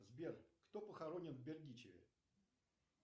сбер кто похоронен в бердичеве